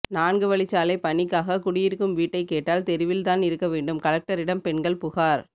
நான்கு வழிச்சாலை பணிக்காக குடியிருக்கும் வீட்டை கேட்டால் தெருவில்தான் இருக்க வேண்டும் கலெக்டரிடம் பெண்கள் புகார்